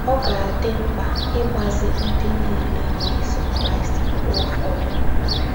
Ọ ga - adị mkpa ịgbazi ndị niile na - eso Kraịst mgbe ụfọdụ.